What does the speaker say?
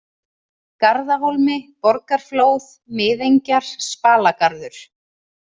Garðahólmi, Borgarflóð, Miðengjar, Spalagarður